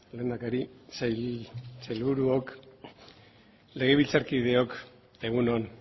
lehendakari sailburuok legebiltzarkideok egun on